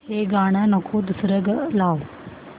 हे गाणं नको दुसरं लाव